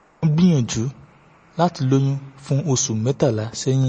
mo ti ń gbìyànjú láti lóyún fún oṣù mẹ́tàlá sẹ́yìn